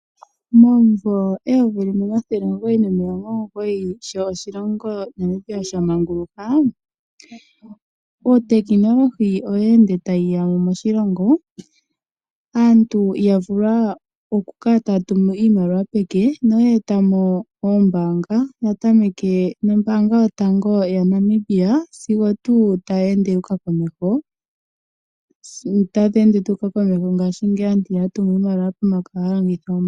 Momumvo 1990 sho oshilongo shamanguluka uutechnology owe ende tawu yamo moshilongo. Aantu oya vulwa oku kala taya tumu iimaliwa peke noye etamo oombanga yatameke nombanga yotango yaNamibia sigo tu taya ende yu uka komeho ngashingeyi aantu ihaya tumu iimaliwa peke ohaya longitha ombanga.